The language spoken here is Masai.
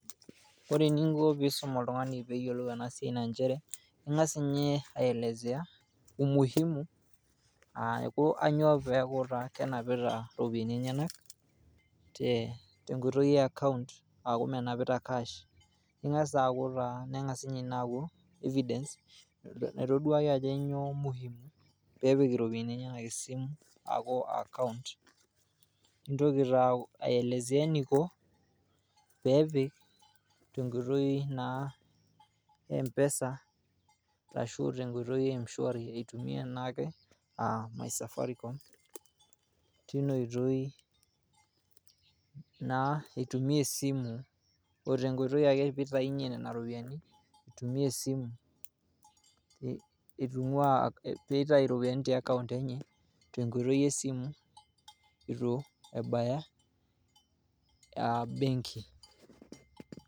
Ore eninko pisum oltungani peyiolou ena siai naa nchere ngas inye aelezea ,umuhimu Ajo kainyioo kenapita iropiyian enyenak te tenkoitoi e account aaku menapita cash nengas Ina aaku evidence naitoduaya Ajo kainyioo muhimu pepik iropiyian enyenak esimu